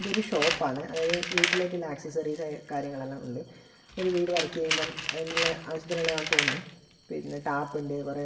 ഇതൊരു ഷോപ്പാണ് വീട്ടിലേക്ക് ഉള്ള ആക്സസറീസ് ആയ കാര്യങ്ങൾ എല്ലാം ഉണ്ട് ഒരു വീട് വർക്ക് ചെയ്യുമ്പം അതിനുള്ള ആവശ്യത്തിനുള്ളതാണെന്ന് തോന്നുന്ന് പിന്നെ ടാപ്പുണ്ട് കുറേ--